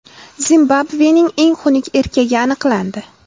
Zimbabvening eng xunuk erkagi aniqlandi.